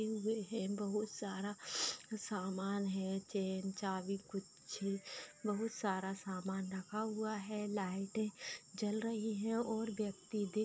will है बहुत सारा सामान है चैन चाबी गुच्छे बहुत सारा सामान रखा हुआ है लाइटे जल रही है और व्यक्ति दिख --